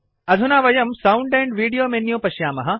अधुना वयं sound and video menu पश्यामः